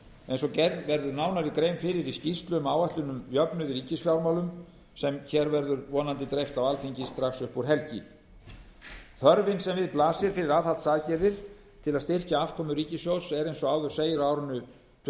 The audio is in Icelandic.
eins og gerð verður nánari grein fyrir í skýrslu um áætlun um jöfnuð í ríkisfjármálum sem hér verður vonandi dreift á alþingi strax upp úr helgi þörfin sem við blasir fyrir aðhaldsaðgerðir til að styrkja afkomu ríkissjóðs er eins og áður segir á árinu tvö